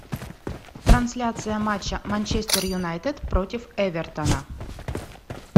трансляция матча манчестер юнайтед против эвертона